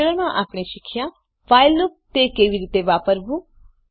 આ ટ્યુટોરીયલમાં આપણે આ વિષે શીખ્યા વ્હાઇલ લુપ તે કેવી રીતે વાપરવું